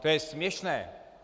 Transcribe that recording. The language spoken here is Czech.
To je směšné!